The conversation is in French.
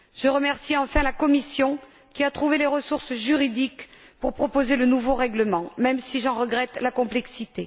Je remercie enfin la Commission, qui a trouvé les ressources juridiques pour proposer le nouveau règlement, même si j'en regrette la complexité.